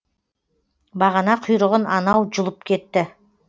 бағана құйрығын анау жұлып кетті